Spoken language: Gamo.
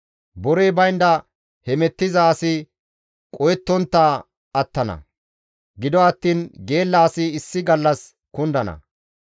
Borey baynda hemettiza asi qohettontta attana; gido attiin geella asi issi gallas kundana.